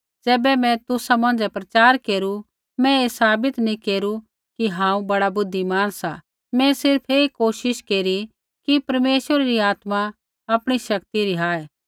ज़ैबै मैं तुसा मौंझ़ै प्रचार केरू मैं ऐ साबित नैंई केरू कि हांऊँ बड़ा बुद्धिमान सा मैं सिर्फ़ ऐ कोशिश केरी कि परमेश्वरा री आत्मा आपणी शक्ति रिहाए